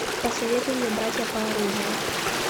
посоветуй мне братья по оружию